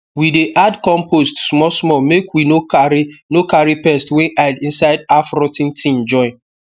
we dey add compost small small make we no carry no carry pest wey hide inside half rot ten thing join